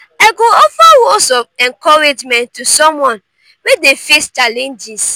i go offer words of encouragement to someone wey dey face challenges.